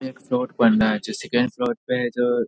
एक जो second floor पे है जो --